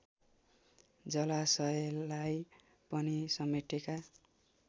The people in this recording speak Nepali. जलाशयलाई पनि समेटेका